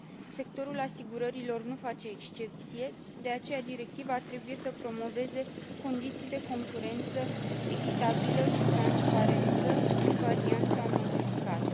Sectorul asigurărilor nu face excepție, de aceea directiva trebuie să promoveze condiții de concurență echitabilă și transparență, în varianta modificată.